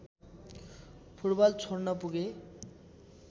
football छोड्न पुगे